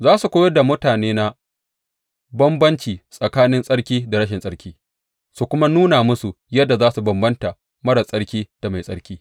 Za su koyar da mutanena bambanci tsakanin tsarki da rashin tsarki su kuma nuna musu yadda za su bambanta marar tsarki da mai tsarki.